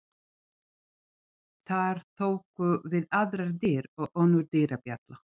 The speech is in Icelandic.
Þar tóku við aðrar dyr og önnur dyrabjalla.